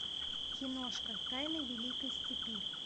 киношка тайны великой степи